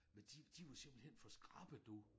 Men de de var simpelthen for skrappe du